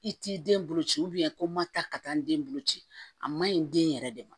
I t'i den bolo ci ko ma ta ka taa n den bolo ci a man ɲi den yɛrɛ de ma